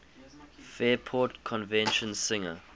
fairport convention singer